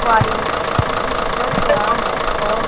complete कर रहा है और--